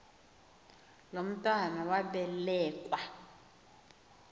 lo mntwana wabelekua